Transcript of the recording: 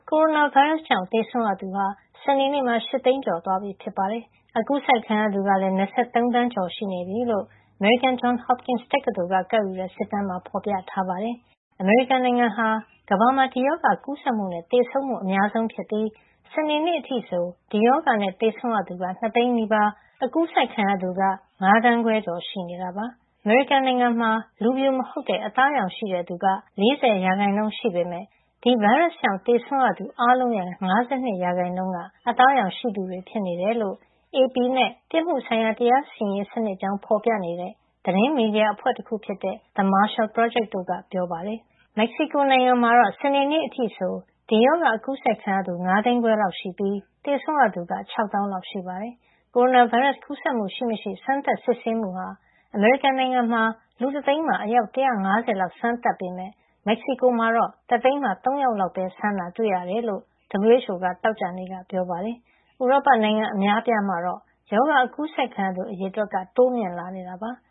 ကိုရိုနာဗိုင်းရပ်စ်ကြောင့် သေဆုံးရသူဟာ စနေနေ့မှာ ၈ သိန်းကျော်သွားပြီ ဖြစ်ပါတယ်။ ကူးစက်ခံရသူကလည်း ၂၃ သန်းကျော် ရှိနေပြီလို့ အမေရိကန် Johns Hopkins တက္ကသိုလ်က ကောက်ယူတဲ့ စစ်တမ်းမှာ ဖော်ပြထားပါတယ်။ အမေရိကန်နိုင်ငံဟာ ကမ္ဘာမှာ ဒီရောဂါ ကူးစက်မှုနဲ့ သေဆုံးမှု အများဆုံးဖြစ်ပြီး စနေနေ့အထိဆို ဒီရောဂါနဲ့ သေဆုံးရသူ ၂ သိန်းနီးပါး ကူးစက်ခံရသူ ၅ သန်းခွဲကျော် ရှိနေတာပါ။ အမေရိကန်နိုင်ငံမှာ လူဖြူမဟုတ်တဲ့ အသားရောင်ရှိတဲ့ သူက ၄၀ ရာခိုင်နှုန်း ရှိပေမယ့် ဒီဗိုင်းရပ်စ်ကြောင့် သေဆုံးရသူ အားလုံးထဲက ၅၂ ရာခိုင်နှုန်းဟာ အသားရောင်ရှိသူတွေ ဖြစ်တယ်လို့ AP နဲ့ ပြစ်မှုဆိုင်ရာ တရားစီရင်ရေး စနစ်အကြောင်း ဖော်ပြနေတဲ့ သတင်းမီဒီယာ အဖွဲ့တခုဖြစ်တဲ့ The Marshall Project တို့က ပြောပါတယ်။ မက္ကဆီကိုနိုင်ငံမှာ စနေနေ့အထိဆို ဒီရောဂါကူးစက်ခံရသူ ၅ သိန်းခွဲလောက်ရှိပြီး သေဆုံးရသူက ၆ သောင်းလောက် ရှိပါတယ်။ ကိုရိုနာဗိုင်းရပ်စ် ကူးစက်မှုရှိမရှိ စမ်းသပ်စစ်ဆေးမှုဟာ အမေရိကန်နိုင်ငံမှာ လူတသိန်းမှာ အယောက် ၁၅၀ လောက် စမ်းသပ်ပေမယ့် မက္ကဆီကိုမှာတော့ တသိန်းမှာ ၃ ယောက်လောက်ပဲစမ်းတာ တွေ့ရတယ်လို့ WHO က သောကြာနေ့က ပြောပါတယ်။ ဥရောပနိုင်ငံ အများအပြားမှာတော့ ရောဂါကူးစက်ခံရသူ အရေအတွက် တိုးမြင့်လာနေတာပါ။